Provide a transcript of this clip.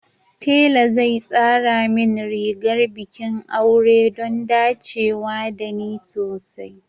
Tela zai tsara min rigar bikin aure don dacewa da ni sosai